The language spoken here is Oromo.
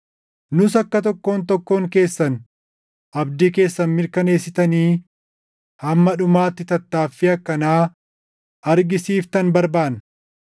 Nus akka tokkoon tokkoon keessan abdii keessan mirkaneessitanii hamma dhumaatti tattaaffii akkanaa argisiiftan barbaanna.